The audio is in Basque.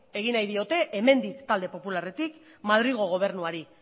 egin nahi diote hemendik talde popularretik madrilgo gobernuari